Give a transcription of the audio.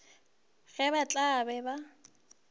ge ba tla be ba